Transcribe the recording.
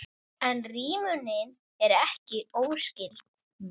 En rímunin er ekki óskyld.